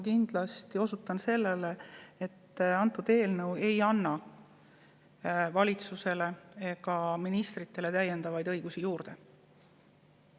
Esiteks osutan sellele, et see eelnõu ei anna kindlasti valitsusele, ministritele täiendavaid õigusi juurde.